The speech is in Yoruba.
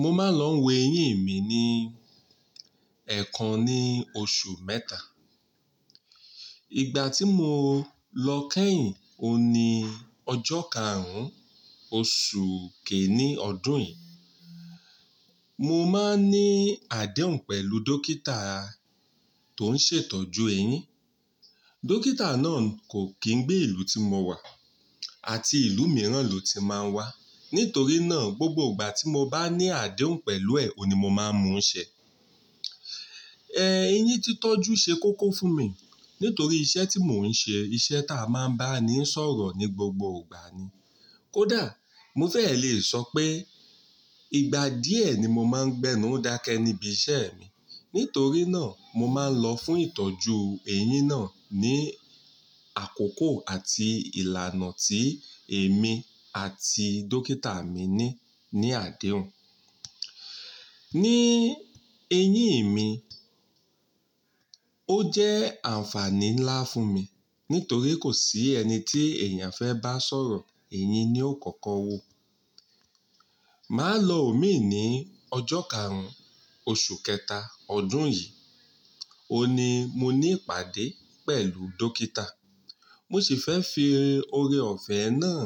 Mo máa ń lọ wo eyín mi ní ẹ̀ kan ní oṣù mẹ́ta. Ìgbà tí mo lọ kẹ́yìn, o ní ọjọ́ karùn-ún oṣù kiini ọdún yìí. Mo máa ń ní adéhùn pẹ̀lú dókítà tó ń ṣètọ́jú eyín. Dókítà náà kò kí ń gbé ìlú tí mo wà àti ìlú mìíràn lo ti máa ń wá. Nítorí náà, gbogbo ìgbà tí mo bá ní adéhùn pẹ̀lú ẹ̀, ohun ní mo máa ń mú ṣẹ. En, eyín títoju ṣe kókó fún mi nítorí iṣẹ́ tí mò ń ṣe, iṣẹ́ ta máa ń bá ni sọ̀rọ̀ ní gbogbo ìgbà ni. Kódà mo fẹ́ lè sọ pé ìgbà díẹ̀ ni mo máa ń gbénu dakẹ́ níbi iṣẹ́ mi. Nítorí náà mo máa ń lọ fún ìtọ́jú eyín náà ní àkókò àti ìlànà tí èmi àti dókítà mi ní, ní adéhùn. Ní eyín mi, ó jẹ́ àǹfààní ńlá fún mi nítorí kò sí ẹni tí èèyàn fẹ́ bá sọ̀rọ̀, eyín ni ó kọ́kọ́ wo. Màá lọ omí ní ọjọ́ karùn-ún oṣù kẹta ọdún yìí. Ó ní mo ní ìpàdé pẹ̀lú dókítà. Mo sì fẹ́ fi oore-ọ̀fẹ́ náà